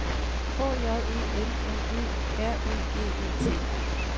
H J E M M E R Ø G E T